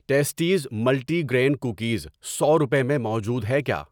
Testes multigrain cookies سو روپے میں موجود ہے کیا؟